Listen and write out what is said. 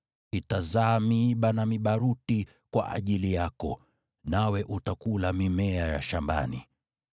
Itazaa miiba na mibaruti kwa ajili yako, nawe utakula mimea ya shambani.